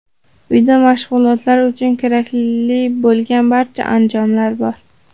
Uyda mashg‘ulotlar uchun kerakli bo‘lgan barcha anjomlar bor.